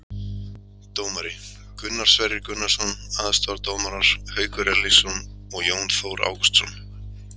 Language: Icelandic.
Dómari: Gunnar Sverrir Gunnarsson, aðstoðardómarar Haukur Erlingsson og Jón Þór Ágústsson.